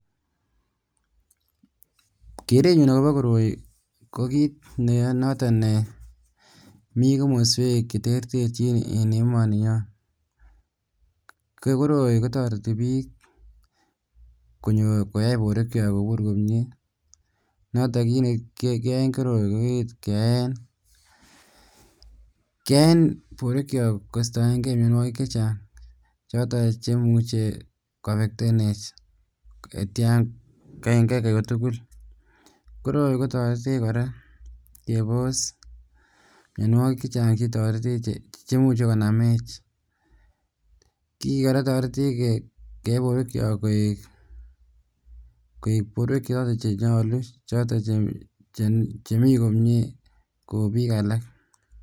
Kerenyun akobo koroi ko kiit nenoton nemii komoswek cheterterchin en emoni nyon, ko koroi kotoreti biik konyor koyai borwekiok kobur komnye, noton kiit nekiyoen koroi keyoen kiit keyaen borwekiok kostoeng'e mionwokik chechang choton cheimuche koafectenech yeityo, koroi kotoretech kora kebos mionwokik chechang chetoretech chemuche konamech , kii kora kotoretech keyai borwekiok koik borwek choton chenyolu choton chemii komnye Kou biik alak.